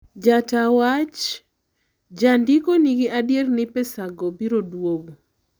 Jata wach: "Jondiko nigi adier ni pesago biro duogo.